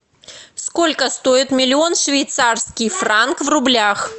сколько стоит миллион швейцарский франк в рублях